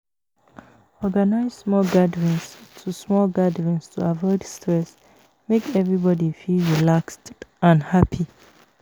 Organize small gatherings to small gatherings to avoid stress; make everybody feel relaxed and happy.